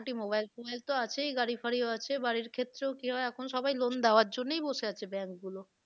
মোটামুটি mobile ফোবাইল তো আছেই, গাড়ি ফাড়িও আছে, বাড়ির ক্ষেত্রেও কি হয় এখন সবাই loan দাওয়ার জন্যই বসে আছে bank গুলো।